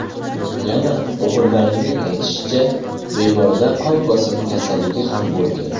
Yana o‘g‘illarining aytishicha, bemorda qon bosimi kasalligi ham bo‘lgan.